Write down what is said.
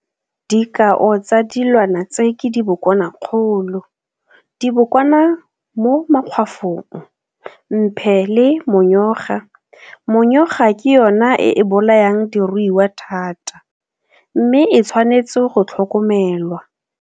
Dikao tsa dilwana tse ke dibokwanakgolo, dibokwana mo makgwafong, mphe le monyoga. Monyoga ke yona e e bolayang diruiwa thata mme e tshwanetswe go tlhokomelwa.